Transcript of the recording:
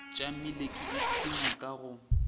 tšamile ke ipshina ka go